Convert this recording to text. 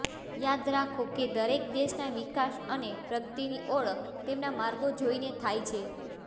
યાદ રાખો કે દરેક દેશના વિકાસ અને પ્રગતિની ઓળખ તેમના માર્ગો જોઈને થાય છે